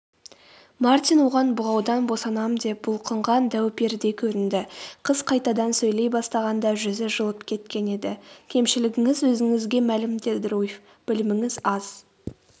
мартин оған бұғаудан босанам деп бұлқынған дәу-перідей көрінді қыз қайтадан сөйлей бастағанда жүзі жылып кеткен еді.кемшілігіңіз өзіңізге мәлім деді руфь.біліміңіз аз